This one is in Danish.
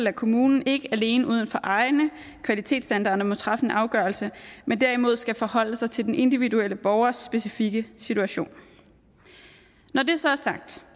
at kommunen ikke alene ud fra egne kvalitetsstandarder må træffe en afgørelse men derimod skal forholde sig til den individuelle borgers specifikke situation når det så er sagt